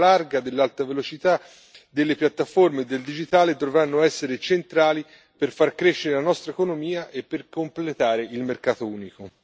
I progetti nel settore delle infrastrutture, della banda larga, dell'alta velocità e delle piattaforme del digitale dovranno essere centrali per far crescere la nostra economia e per completare il mercato unico.